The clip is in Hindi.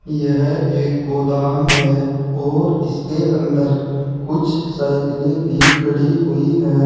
यह एक गोदाम है और इसके अंदर कुछ साइकिले भी खड़ी हुई है।